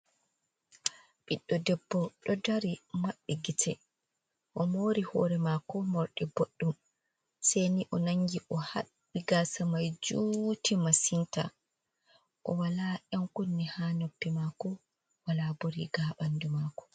Ɓiɗɗo debbo ɗo dari maɓɓi gite. O mori hoori maako morɗi boɗɗum. Se ni o nangi o haɓɓi gaasa mai juuti masinta. O wala ƴankunne haa noppi maako, wala bo riga haa ɓandu maako.